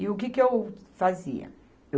E o que que eu fazia?